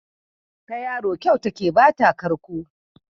Ta yaro kyau take ba ta karko.